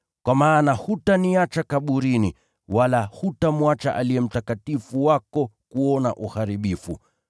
Kwa maana hutaniacha kaburini, wala hutamwacha Aliye Mtakatifu wako kuona uharibifu.